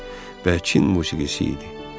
Bəkin musiqisi idi.